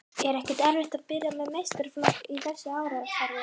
Er ekkert erfitt að byrja með meistaraflokk í þessu árferði?